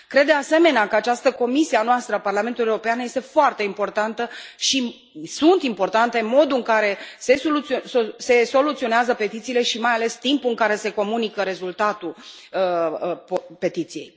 Cred, de asemenea, că această comisie a noastră, a Parlamentului European, este foarte importantă și sunt importante modul în care se soluționează petițiile și, mai ales, timpul care se comunică rezultatul petiției.